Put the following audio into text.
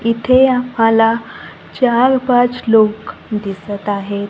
इथे आम्हाला चार पाच लोकं दिसतं आहेत.